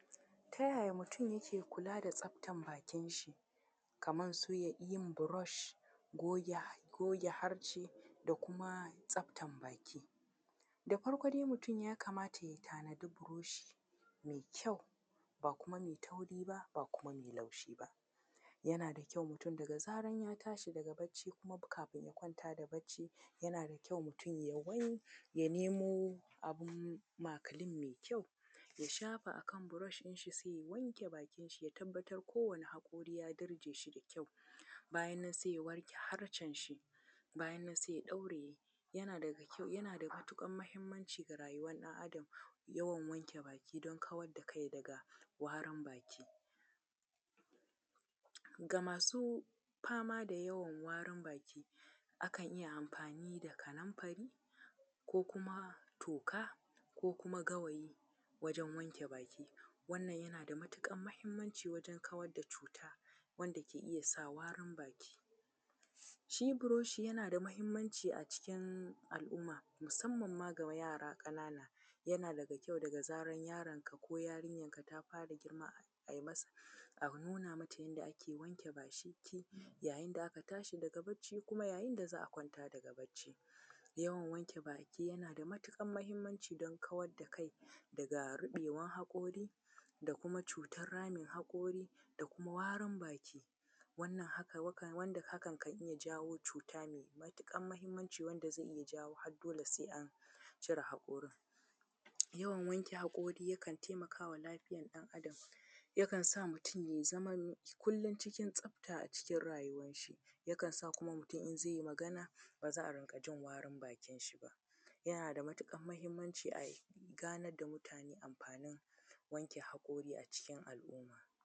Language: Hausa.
Ta ya ya mutum yake kula da tsaftar bakinshi, kamar su iya yin brush, goge harce da kuma tsaftar baki? Da farko dai mutum ya kamata ya tanadi buroshi mai kyau, ba kuma mai tauri ba, ba kuma mai laushi ba. Yana da kyau mutum daga zarar ya tashi daga bacci, ko kuma kafin ya kwanta da bacci, yana da kyau mutum ya wanke ya nemo abun makilin mai kyau, ya shafa a kan brush ɗinshi sai ya wanke bakinshi, ya tabbatar kowane haƙori ya dirje shi da kyau. Bayan nan sai ya wanke harcenshi, bayan nan sai ya ɗauraye. Yana daga kyau, yana da matuƙar muhimmanci ga rayuwar ɗan’adam, yawan wanke baki, don kawar da kai daga warin baki. Ga masu fama ga yawan warin baki, akan iya amfani da kanumfari, ko kuma toka, ko kuma gawayi wajen wanke baki. Wannan yana da matuƙar muhimmanci wajen kawar da cuta, wanda ke iya sa warin baki. Shi buroshi yana da muhimmanci a cikin al'umma, musamman ma ga yara ƙanana. Yana daga kyau daga zarar yaronka ko yarinyarka ta fara girma, ai masa a nuna mata yanda ake wanke baki, yayin da aka tashi daga bacci kuma yayin da za a kwanta daga bacci. Yawan wanke baki yana da matuƙar muhimmanci don kawar da kai daga ruɓewar haƙori, da kuma cutar ramin haƙori, da kuma warin baki, wannan haka, wanda hakan kan iya jawo cuta mai matuƙar muhimmanci wanda zai iya jawo har dole sai an cire haƙorin. Yawan wanke haƙori yakan taimaka wa lafiyar ɗan’adam, yakan sa mutum ya zama kullum cikin tsafta a cikin rayuwarshi. Yakan sa kuma mutum in zai yi magana ba za a riƙa jin warin bakinshi ba. Yana da matuƙar muhimmanci a ganar da mutane amfanin wanke haƙori a cikin al'umma.